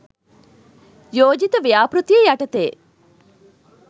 යෝජිත ව්‍යාපෘතිය යටතේ